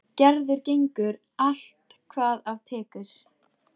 Gerður gengur allt hvað af tekur.